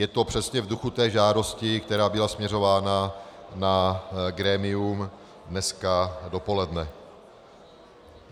Je to přesně v duchu té žádosti, která byla směřována na grémium dnes dopoledne.